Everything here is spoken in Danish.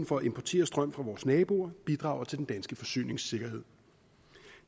for at importere strøm fra vores naboer bidrager til den danske forsyningssikkerhed